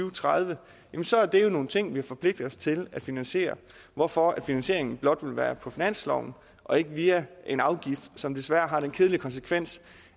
og tredive så er det jo nogle ting vi har forpligtet os til at finansiere hvorfor finansieringen blot vil være på finansloven og ikke via en afgift som desværre har den kedelige konsekvens